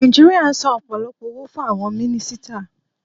Nàìjíríà n san ọ̀pọ̀lọpọ̀ owó fún àwon mínísítà